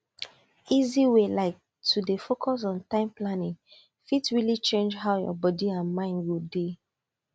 easy way like to dey focus on time planning fit really change how your body and mind go dey